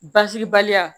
Basibaliya